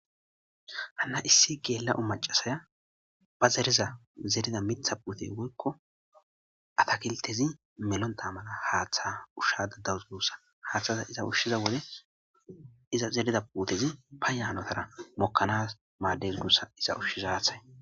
Hanna issi geella7o macasaya ba zeriza zerida mitha puute woykko atakiltezi melontaamana haaththay ushshadadawus guussa haaththaza iza ushshiza wode iza zerida puutezi ba yaanotara mokkanas maaddelgussa iza ushshiza haaththay.